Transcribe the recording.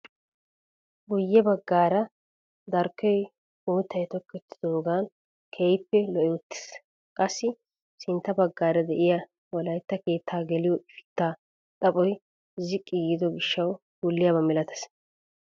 Guye baggaara darkkoy uuttay tokettidaagan keehippe lo"i uttiis. qassi sintta baggaara de'iyaa wolaytta keettaa geliyoo ifittaa xaphphoy ziqqi giido gishshawu wulliyaaba milatees.